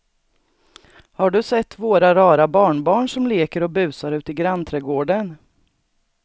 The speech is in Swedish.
Har du sett våra rara barnbarn som leker och busar ute i grannträdgården!